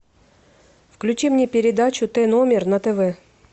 включи мне передачу т номер на тв